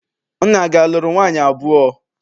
Nna gị a lụrụ nwaanyị abụọ?